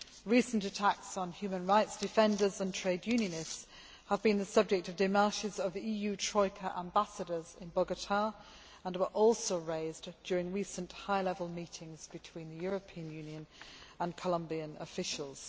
Recent attacks on human rights defenders and trade unionists have been the subject of démarches by the EU troika ambassadors in Bogotá and were also raised during recent high level meetings between European Union and Colombian officials.